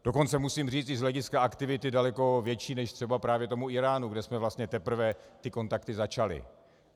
Dokonce musím říct i z hlediska aktivity daleko větší než třeba právě tomu Íránu, kde jsme vlastně teprve ty kontakty začali.